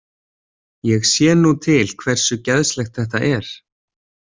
Ég sé nú til hversu geðslegt þetta er.